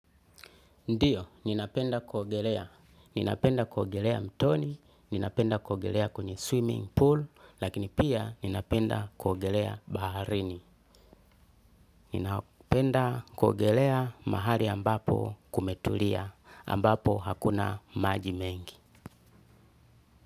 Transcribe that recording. Ndiyo, ninapenda kuogelea. Ninapenda kuogelea mtoni, ninapenda kuogelea kwenye swimming pool, lakini pia ninapenda kuogelea baharini. Ninapenda kuogelea mahali ambapo kumetulia, ambapo hakuna maji mengi.